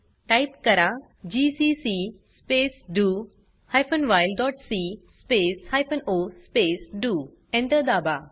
type करा GCC space do hyphen while dot c space hyphen o space do Enter दाबा